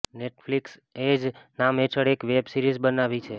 Netflix એ જ નામ હેઠળ એક વેબ સિરીઝ બનાવી છે